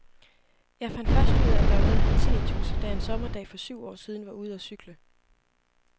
Jeg fandt først ud, at der var noget, der hed tinnitus, da jeg en sommerdag for syv år siden var ude og cykle.